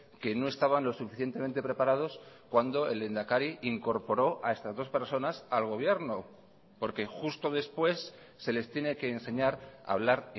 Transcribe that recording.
que no estaban lo suficientemente preparados cuando el lehendakari incorporó a estas dos personas al gobierno porque justo después se les tiene que enseñar a hablar